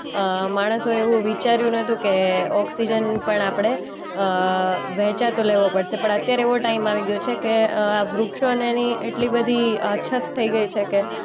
અ માણસોએ એવું વિચાર્યું નતું કે ઓક્સિજન પણ આપણે અ વહેંચાતો લેવો પડશે. પણ અત્યારે એવી ટાઈમ આવી ગયો છે કે અ આ વૃક્ષોને એની એટલી બધી અછત થઈ ગઈ છે કે